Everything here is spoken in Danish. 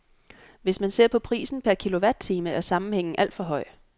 Hvis man ser på prisen per kilowatt-time er sammenhængen alt for høj.